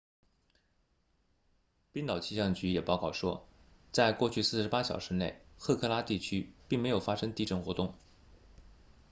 冰岛气象局也报告说在过去48小时内赫克拉 hekla 地区并没有发生地震活动